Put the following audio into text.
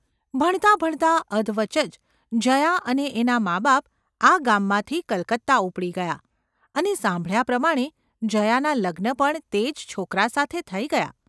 ભણતાં ભણતાં અધવચ જ જયા અને એનાં માબાપ આ ગામમાંથી કલકત્તા ઊપડી ગયાં અને સાંભળ્યા પ્રમાણે જયાનાં લગ્ન પણ તે જ છોકરા સાથે થઈ ગયાં.